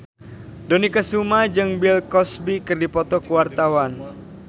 Dony Kesuma jeung Bill Cosby keur dipoto ku wartawan